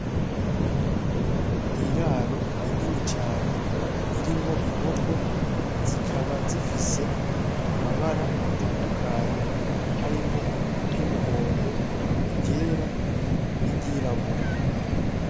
N'iraro rinini cane ririmwo inkoko zikaba zifise amabara atandukanye harimwo iryumuhondo, iryera niryirabura.